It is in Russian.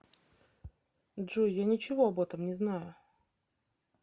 джой я ничего об этом не знаю